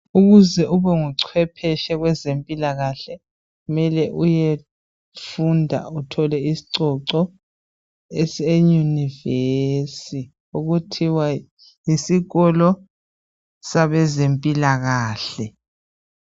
Ukuze ubenguchwepheshe wezempilakahle mele uyefunda uthole isicoco eseYunivesi okuthiwa yisikolo sabezempilakahle